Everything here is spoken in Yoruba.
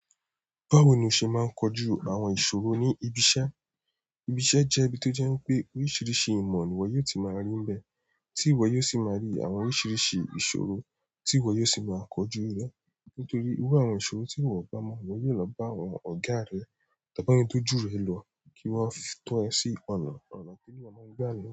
Báwo ni o se maa n koju àwọn ìṣòro ni ibi iṣẹ́? Ibi iṣẹ́ je ibi ti o je wípé oríṣiríṣi ìmọ̀ ni iwo yóò ti maa ri níbẹ̀ ti iwọ yóò sì máa rí àwọn oríṣiríṣi ìṣòro, tí iwọ yóò sì máa kọjú rẹ. Nítorí iru àwọn ìṣòro tí iwọ o bá mọ̀, iwọ yóò lọ bá àwọn ọ̀gá rẹ, tàbí àwọn ẹni tí ó ju ẹ lọ kí wọ́n tó ẹ sí ọ̀nà, ọ̀nà ti eyan máa n gbà niyen.